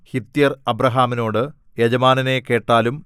ഹിത്യർ അബ്രാഹാമിനോട് യജമാനനേ കേട്ടാലും